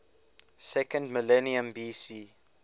second millennium bc